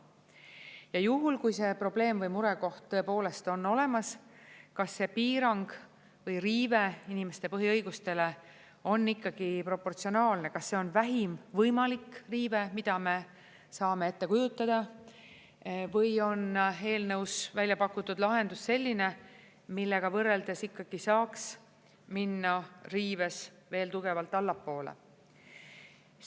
Ja juhul, kui see probleem või murekoht tõepoolest on olemas, kas see piirang või riive inimeste põhiõigustele on ikkagi proportsionaalne, kas see on vähim võimalik riive, mida me saame ette kujutada, või on eelnõus väljapakutud lahendus selline, millega võrreldes ikkagi saaks minna riives veel tugevalt allapoole?